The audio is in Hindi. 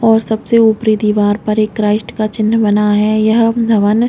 और सबसे ऊपरी दिवार पर एक क्रॉस का चिन्ह बना है वह डरने--